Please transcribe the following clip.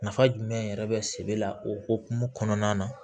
Nafa jumɛn yɛrɛ bɛ se la o hukumu kɔnɔna na